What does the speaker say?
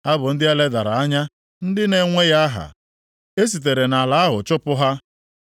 Ha bụ ndị e ledara anya, ndị na-enweghị aha, e sitere nʼala ahụ chụpụ ha.